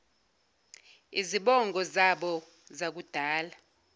izibongo zaboo zakudala